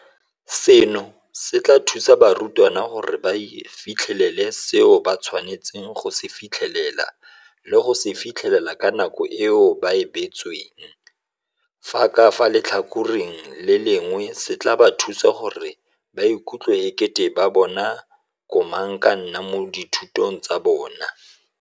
Seno se tla thusa barutwana gore ba fitlhelele seo ba tshwanetseng go se fitlhelela le go se fitlhelela ka nako eo ba e beetsweng, fa ka fa letlhakoreng le lengwe se tla ba thusa gore ba ikutlwe e kete ke bona bo komangkanna mo dithutong tsa bona.